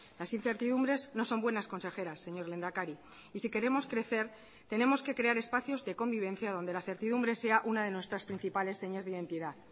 las incertidumbres no son buenas consejeras señor lehendakari y si queremos crecer tenemos que crear espacios de convivencia donde la certidumbre sea una de nuestras principales señas de identidad